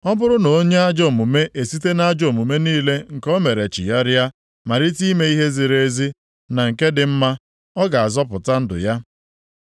Ọ bụrụ na onye ajọ omume esite nʼajọ omume niile nke o mere chigharịa malite ime ihe ziri ezi na nke dị mma, ọ ga-azọpụta ndụ ya.